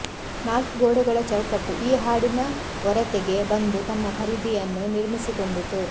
ನಾಲ್ಕು ಗೋಡೆಗಳ ಚೌಕಟ್ಟು ಈ ಹಾಡಿನ ಒರತೆಗೆ ಬಂದು ತನ್ನ ಪರಿಧಿಯನ್ನು ನಿರ್ಮಿಸಿಕೊಂಡಿತು